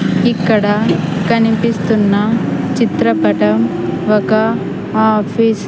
ఇక్కడ కనిపిస్తున్న చిత్రపటం ఒక ఆఫీస్ .